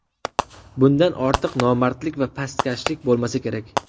Bundan ortiq nomardlik va pastkashlik bo‘lmasa kerak.